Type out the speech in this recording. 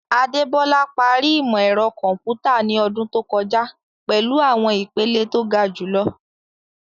Adebola parí ìmọ̀ ẹ̀rọ kọ̀m̀pútà ní ọdún tó kọjá pẹ̀lú àwọn ìpele tó ga jùlọ.